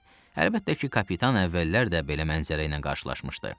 Əlbəttə ki, kapitan əvvəllər də belə mənzərə ilə qarşılaşmışdı.